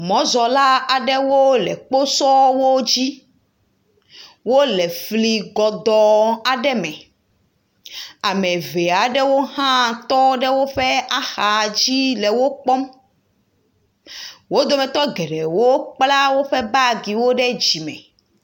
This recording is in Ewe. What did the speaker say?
Mɔzɔla aɖewo le kposɔwo dzi, wole fli gɔdɔɔ aɖe me, ame eve aɖewo hã tɔ ɖe woƒe axa dzi le wo kpɔm, wo dometɔ geɖewo kpla woƒe bagiwo ɖe dzime. afi ma le wo.